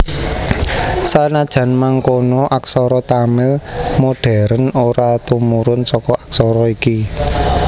Sanajan mangkono aksara Tamil modhèren ora tumurun saka aksara iki